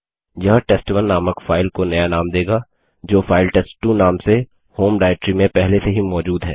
यह टेस्ट1 नामक फाइल को नया नाम देगा जो फाइल टेस्ट2 नाम से होम डाइरेक्टरी में पहले से ही मौजूद है